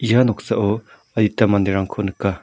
ia noksao adita manderangko nika.